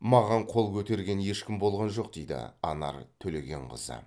маған қол көтерген ешкім болған жоқ дейді анар төлегенқызы